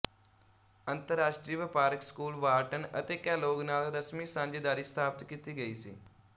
ਅੰਤਰਰਾਸ਼ਟਰੀ ਵਪਾਰਕ school Wharton ਅਤੇ ਕੈਲੋਗ ਨਾਲ ਰਸਮੀ ਸਾਂਝੇਦਾਰੀ ਸਥਾਪਤ ਕੀਤੀ ਗਈ ਸੀ